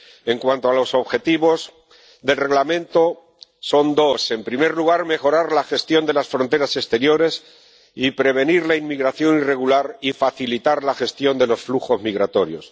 En cuanto a los objetivos del Reglamento, son dos en primer lugar, mejorar la gestión de las fronteras exteriores y prevenir la inmigración irregular y facilitar la gestión de los flujos migratorios